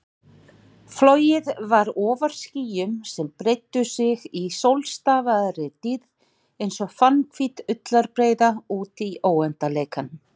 Flogið var ofar skýjum sem breiddu sig í sólstafaðri dýrð einsog fannhvít ullarbreiða útí óendanleikann.